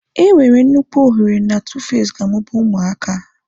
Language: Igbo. Enwere nnukwu ohere na Tuface ga-amụba ụmụaka.